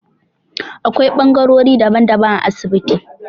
Akwai bangarori daban-daban a asibiti